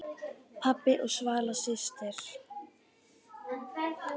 Pabbi og Svala systir.